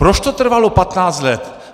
Proč to trvalo 15 let?